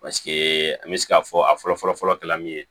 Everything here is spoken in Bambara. Paseke an bɛ se k'a fɔ a fɔlɔ fɔlɔ kɛra min ye